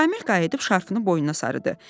Şamil qayıdıb şarfını boynuna sarıdı.